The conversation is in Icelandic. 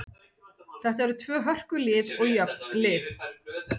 Þetta eru tvö hörku lið og jöfn lið.